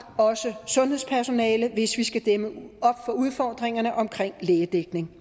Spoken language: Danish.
også sundhedspersonale hvis vi skal dæmme op for udfordringerne omkring lægedækning